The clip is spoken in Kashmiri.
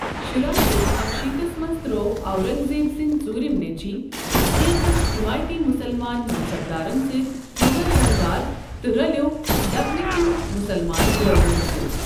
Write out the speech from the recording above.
شُراہ شتھ اکشیتس منز ترٚوو اورنگ زیب سندۍ ژوُرِمۍ نیچِوِ کینژن حیمٲیتی مُسلمان منصبدارن سۭتۍ موٚغل دربار تہٕ رلیوٚ دکن کین مُسلمان بٲغِین سۭتۍ ۔